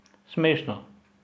Smešno!